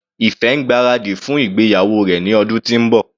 Ife ń gbáradì fún ìgbéyàwó rẹ̀ ní ọdún tí ń bọ̀.